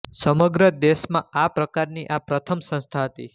સમગ્ર દેશમાં આ પ્રકારની આ પ્રથમ સંસ્થા હતી